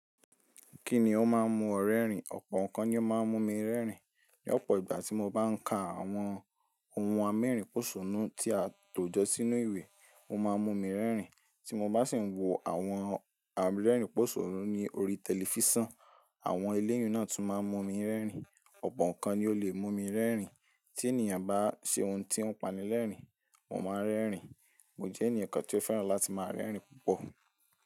Kí ni ó máa ń mú ọ rẹ́rìn? Ọ̀pọ̀ nǹkan ni ó máa ń mú mi rẹ́rìn. Ní ọ̀pọ̀ ìgbà tí mo bá ń ka àwọn ohun amérìnposónu tí a tọ́ jọ sínú ìwé, ó máa ń mú mi rẹ́rìn. Tí mo bá sì ń wo àwọn amérìnposónu ní orí tẹlifísàn, àwọn eléyò náà tún máa ń mú mi rẹ́rìn. Ọ̀pọ̀ nǹkan ni ó lè mú mi rẹ́rìn. Tí ènìyàn bá ṣe ohun tí ó pani lẹ́rìnìn, mo máa ń rẹ́rìn. Mo jẹ́ ẹnìkan tí ó fẹ́ràn láti máa ń rẹ́rìn púpọ̀.